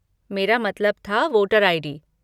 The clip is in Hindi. मेरा मतलब था वोटर आई.डी.